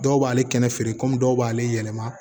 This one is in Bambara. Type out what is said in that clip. Dɔw b'ale kɛnɛ feere kɔmi dɔw b'ale yɛlɛma